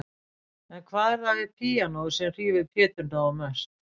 En hvað er það við píanóið sem hrífur Pétur Nóa mest?